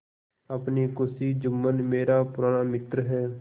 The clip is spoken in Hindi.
अपनी खुशी जुम्मन मेरा पुराना मित्र है